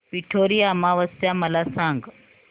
पिठोरी अमावस्या मला सांग